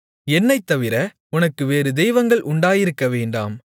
என்னைத்தவிர உனக்கு வேறு தெய்வங்கள் உண்டாயிருக்கவேண்டாம்